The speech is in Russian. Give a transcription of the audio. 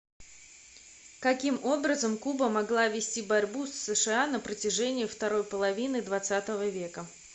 каким образом куба могла вести борьбу с сша на протяжении второй половины хх века